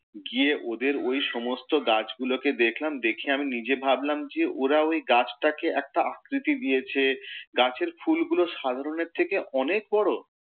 গিয়ে ওদের ওই সমস্ত গাছ গুলোকে দেখলাম, দেখে আমি নিজে ভাবলাম, ওরা ওই গাছটাকে একটা আকৃতি দিয়েছে, গাছের ফুলগুলো সাধারনের থেকে অনেক বড়!